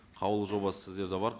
қаулы жобасы сіздерде бар